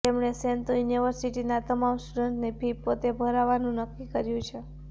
તેમણે શેન્તો યુનિવર્સિટીના તમામ સ્ટુડન્ટ્સની ફી પોતે ભરવાનું નક્કી કર્યું છે